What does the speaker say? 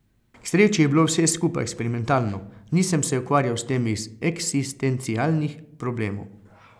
K sreči je bilo vse skupaj eksperimentalno, nisem se ukvarjal s tem iz eksistencialnih problemov.